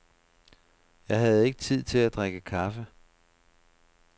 Jeg havde ikke tid til at drikke kaffe.